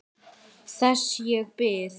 Þess ég bið.